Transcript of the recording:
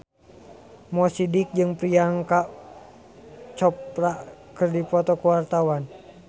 Mo Sidik jeung Priyanka Chopra keur dipoto ku wartawan